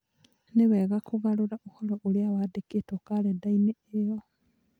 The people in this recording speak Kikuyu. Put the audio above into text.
Nĩ wega kũgarũra ũhoro ũrĩa wandĩkĩtwo kalenda-inĩ ĩyo